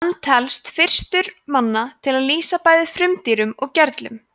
hann telst fyrstur manna til að lýsa bæði frumdýrum og gerlum